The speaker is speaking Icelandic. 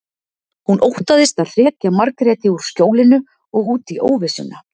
Hún óttaðist að hrekja Margréti úr skjólinu og út í óvissuna.